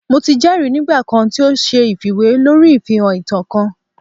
Mo ti jẹri nigba kan ti o ṣe ifiwe lori ifihan ita kan